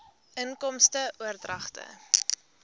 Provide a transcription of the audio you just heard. inkomste oordragte